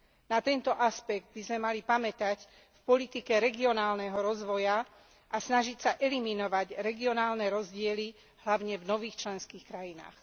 Na tento aspekt by sme mali pamätať v politike regionálneho rozvoja a snažiť sa eliminovať regionálne rozdiely hlavne v nových členských štátoch.